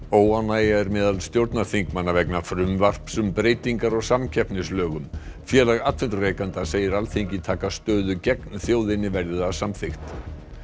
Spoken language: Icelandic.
óánægja er meðal stjórnarþingmanna vegna frumvarps um breytingar á samkeppnislögum félag atvinnurekenda segir Alþingi taka stöðu gegn þjóðinni verði það samþykkt